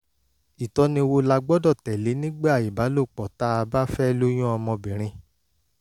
ìtọ́ni wo la gbọ́dọ̀ tẹ̀lé nígbà ìbálòpọ̀ tá a bá fẹ́ lóyún ọmọbìnrin?